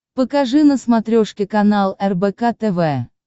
покажи на смотрешке канал рбк тв